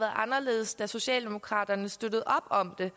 anderledes da socialdemokraterne støttede op om det